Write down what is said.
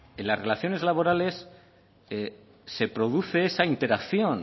en las relaciones laborales se produce esa interacción